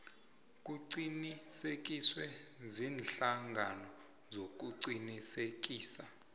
kuqinisekiswe ziinhlangano zokuqinisekisa